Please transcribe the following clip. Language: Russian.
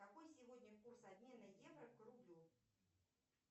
какой сегодня курс обмена евро к рублю